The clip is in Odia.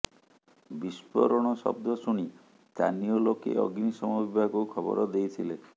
ବିସ୍ଫୋରଣ ଶବ୍ଦ ଶୁଣି ସ୍ଥାନୀୟ ଲୋକେ ଅଗ୍ନିଶମ ବିଭାଗକୁ ଖବର ଦେଇଥିଲେ